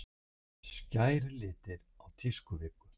Skærir litir á tískuviku